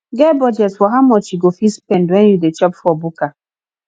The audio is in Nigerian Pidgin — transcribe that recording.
get budget for how much you go fit spend when you dey chop for bukka